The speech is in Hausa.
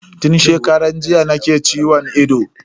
Tun shekaran jiya nake ciwon ido.